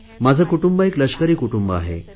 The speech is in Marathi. माझे कुटुंब एक लष्करी कुटुंब आहे